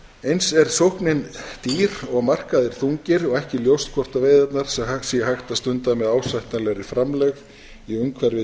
eins er sóknin dýr og markaðir þungir og ekki ljóst hvort veiðarnar sé hægt að stunda með ásættanlegri framlegð í umhverfi